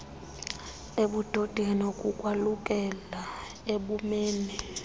ebudodeni kukwalukela ebhumeni